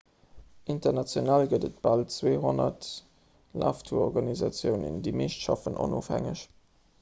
international gëtt et bal 200 laftourorganisatiounen déi meescht schaffen onofhängeg